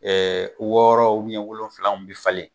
wɔɔrɔ wolonfilaw bɛ falen